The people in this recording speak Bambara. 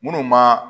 Minnu ma